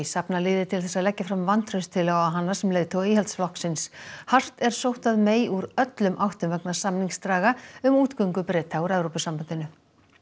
safna liði til þess að leggja fram vantrausttilögu á hana sem leiðtoga Íhaldsflokksins hart er sótt að úr öllum áttum vegna samningsdraga um útgöngu Breta úr Evrópusambandinu